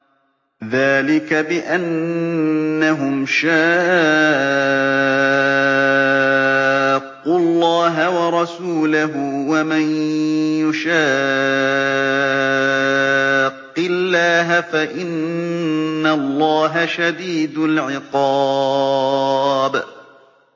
ذَٰلِكَ بِأَنَّهُمْ شَاقُّوا اللَّهَ وَرَسُولَهُ ۖ وَمَن يُشَاقِّ اللَّهَ فَإِنَّ اللَّهَ شَدِيدُ الْعِقَابِ